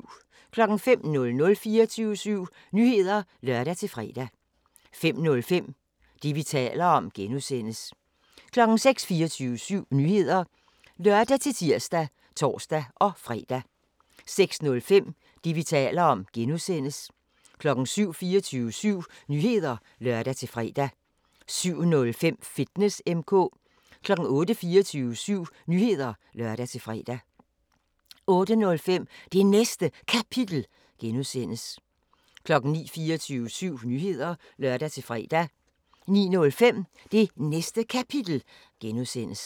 05:00: 24syv Nyheder (lør-fre) 05:05: Det, vi taler om (G) 06:00: 24syv Nyheder (lør-tir og tor-fre) 06:05: Det, vi taler om (G) 07:00: 24syv Nyheder (lør-fre) 07:05: Fitness M/K 08:00: 24syv Nyheder (lør-fre) 08:05: Det Næste Kapitel (G) 09:00: 24syv Nyheder (lør-fre) 09:05: Det Næste Kapitel (G)